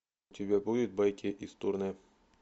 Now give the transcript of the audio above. у тебя будет байки из турне